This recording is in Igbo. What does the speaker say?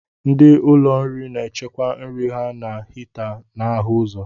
Ndị ụlọ nri na-echekwa nri ha na hita na-ahụ ụzọ.